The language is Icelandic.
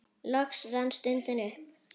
Loks rann stundin upp.